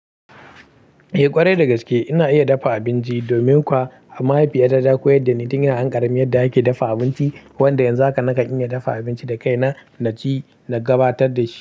Eh ƙwarai dagaske ina iya dafa abinci, domin kuwa a mahaifiya ta ta koyar dani tin ina ƙarami yadda ake dafa abinci. Wanda yanzu haka nakan iya dafa abinci da kai na na ci na gabatar da shi.